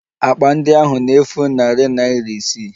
Akpa ndị ahụ na-efu narị naira isii